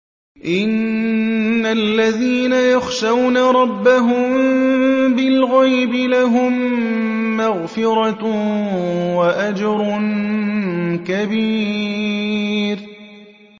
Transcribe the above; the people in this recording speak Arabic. إِنَّ الَّذِينَ يَخْشَوْنَ رَبَّهُم بِالْغَيْبِ لَهُم مَّغْفِرَةٌ وَأَجْرٌ كَبِيرٌ